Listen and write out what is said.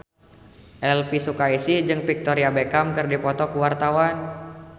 Elvy Sukaesih jeung Victoria Beckham keur dipoto ku wartawan